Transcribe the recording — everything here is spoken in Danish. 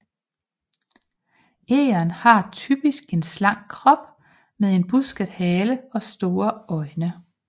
Egern har typisk en slank krop med busket hale og store øjne